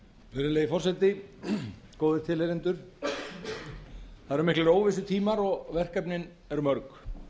virðulegi forseti góðir tilheyrendur það eru miklir óvissutímar og verkefnin eru mörg